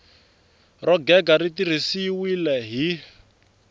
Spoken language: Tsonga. ro gega ri tirhisiwile hi